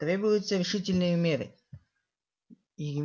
требуются решительные меры